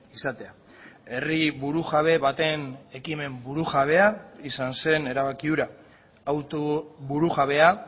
izatea herri burujabe baten ekimen burujabea izan zen erabaki hura auto burujabea